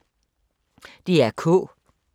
DR K